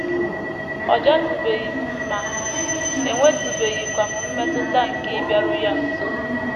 * Ọ jatụbeghị m mma, enwetụbeghịkwa m mmetụta nke ịbịaru ya nso.